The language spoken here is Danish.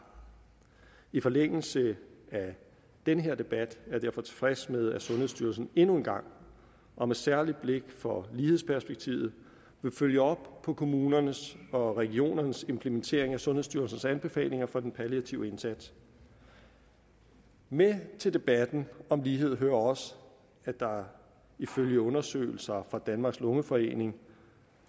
i forlængelse af den her debat er jeg derfor tilfreds med at sundhedsstyrelsen endnu en gang og med særligt blik på lighedsperspektivet vil følge op på kommunernes og regionernes implementering af sundhedsstyrelsens anbefalinger for den palliative indsats med til debatten om lighed hører også at der ifølge undersøgelser fra danmarks lungeforening